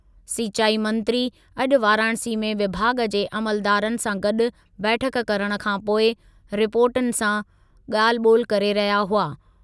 सिंचाई मंत्री अॼु वाराणसी में विभाॻु जे अमलदारनि सां गॾु बैठकु करण खां पोइ रिपोर्टरनि सां ॻाल्हि ॿोलि करे रहिया हुआ।